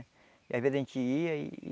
Às vezes, a gente ia e...